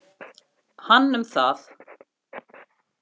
Hann um það.